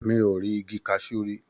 Mi ò ì rí igi kaṣú rí.